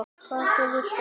Það gerist oft.